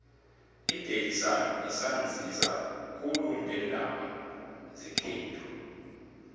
idaily sun isanzisa khulu ngeendaba zekhethu